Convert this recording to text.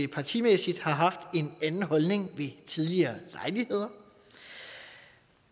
partimæssigt har haft en anden holdning ved tidligere lejligheder